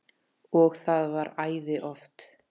Og það var æði oft.